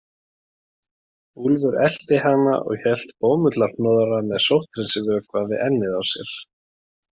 Úlfur elti hana og hélt bómullarhnoðra með sótthreinsivökva við ennið á sér.